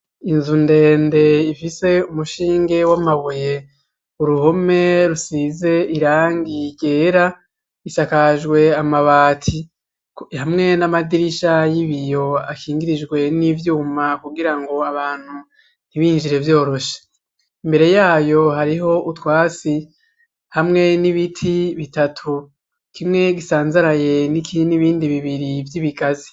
Inzu ndende ifise umushinge w'amabuye ,uruhome rusize irangi ryera, isakajwe amabati hamwe n'amadirisha y'ibiyo akingirijwe n'ivyuma kugira ngo abantu ntibinjire vyoroshe ,imbere yayo hariho utwasi hamwe n'ibiti bitatu kimwe gisanzaraye n'ibindi bibiri vy'ibigazi.